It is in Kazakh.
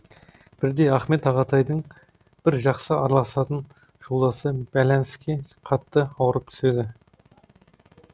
бірде ахмет ағатайдың бір жақсы араласатын жолдасы бәләніске қатты ауырып түседі